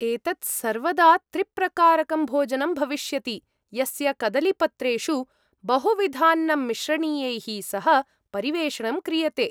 एतत् सर्वदा त्रिप्रकारकं भोजनं भविष्यति, यस्य कदलीपत्रेषु बहुविधान्नमिश्रणीयैः सह परिवेषणं क्रियते।